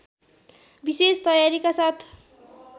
विशेष तयारीका साथ